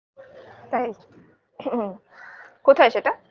তাই কোথায় সেটা